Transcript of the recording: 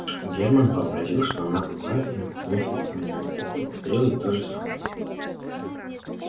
германн вообразил что она глуха и наклонясь над самым её ухом повторил ей то же самое